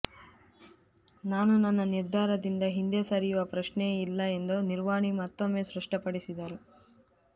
ನಾನು ನನ್ನ ನಿರ್ಧಾರದಿಂದ ಹಿಂದೆ ಸರಿಯುವ ಪ್ರಶ್ನೆಯೇ ಇಲ್ಲ ಎಂದು ನಿರ್ವಾಣಿ ಮತ್ತೊಮ್ಮೆ ಸ್ಪಷ್ಟಪಡಿಸಿದರು